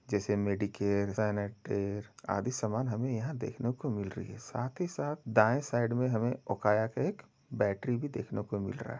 जैसे medicare sanicare आदि सामान हमें यहाँ देखने को मिल रही है। साथ ही साथ दाये साइड मे हमे उकाय के एक बैटरी भी देखने को मिल रहा --